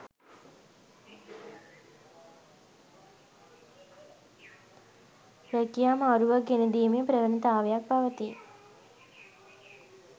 රැකියා මාරුවක් ගෙනදීමේ ප්‍රවණතාවක් පවතී.